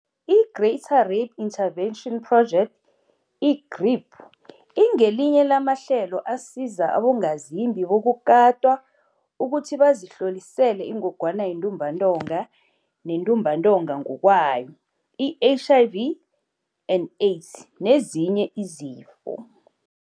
I-Greater Rape Intervention Project, i-GRIP, ingelinye lamahlelo asiza abongazimbi bokukatwa ukuthi bazihlolisele iNgogwana yeNtumbantonga neNtumbantonga ngokwayo, i-HIV and Aids, nezinye izifo.